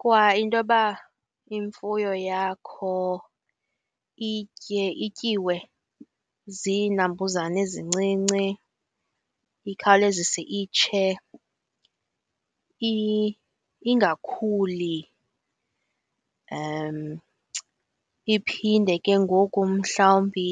Kwa intoba imfuyo yakho itye ityiwe ziinambuzane ezincinci, ikhawulezise itshe, ingakhuli, iphinde ke ngoku mhlawumbi